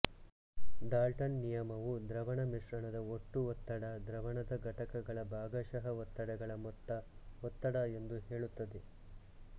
Dalton ನಿಯಮವು ದ್ರವಣ ಮಿಶ್ರಣದ ಒಟ್ಟು ಒತ್ತಡ ದ್ರವಣದ ಘಟಕಗಳ ಭಾಗಾಶಃ ಒತ್ತಡಗಳ ಮೊತ್ತ ಒತ್ತಡ ಎಂದು ಹೇಳುತ್ತದೆ